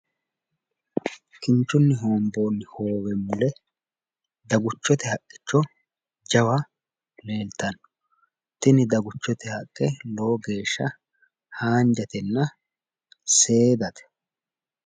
Kinchunni hoomboonni hoowe mule daguchote haqicho jawa leeltanno. Tini daguchote haqqe lowo geeshsha haanjatenna seedate.